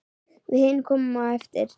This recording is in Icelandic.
Við hin komum á eftir.